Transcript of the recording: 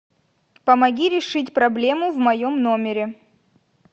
помоги решить проблему в моем номере